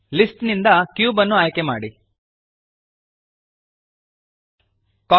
list ನಿಂದ cube ಅನ್ನು ಆಯ್ಕೆಮಾಡಿರಿ